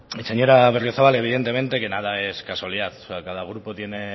señora berriozabal evidentemente que nada es casualidad o sea cada grupo tiene